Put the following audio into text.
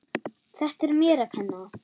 Þetta er mér að kenna.